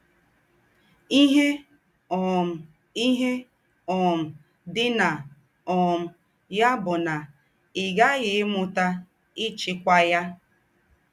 “ Íhe um “ Íhe um dì ná um yà bù ná í ghààghì ímútà íchíkwà ya. ”